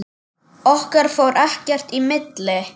Okkar fór ekkert í milli.